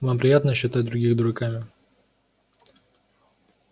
вам приятно считать других дураками